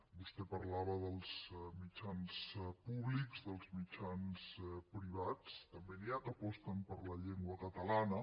vostè parlava dels mitjans públics dels mitjans privats també n’hi ha que aposten per la llengua catalana